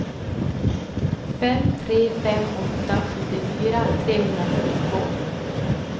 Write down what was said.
fem tre fem åtta sjuttiofyra trehundrafyrtiotvå